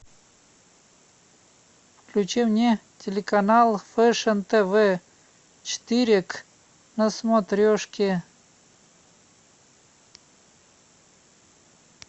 включи мне телеканал фешн тв четыре к на смотрешке